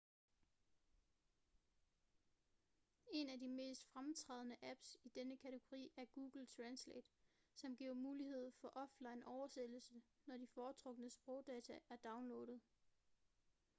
en af de mest fremtrædende apps i denne kategori er google translate som giver mulighed for offline oversættelse når de foretrukne sprogdata er downloadet